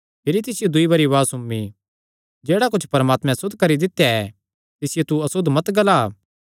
भिरी दूई बरी तिसियो उआज़ सुम्मी जेह्ड़ा कुच्छ परमात्मैं सुद्ध करी दित्या ऐ तिसियो तू असुद्ध मत ग्ला